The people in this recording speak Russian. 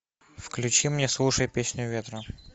включи мне слушай песню ветра